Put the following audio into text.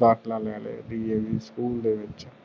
ਦਾਖਲਾ ਲੈ ਲਿਆ ਸੀ ਡੀ ਏ ਵੀ ਸਕੂਲ ਦੇ ਵਿਚ